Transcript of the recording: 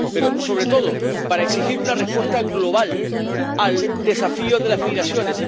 pero, sobre todo, para exigir una respuesta global al desafío de las migraciones.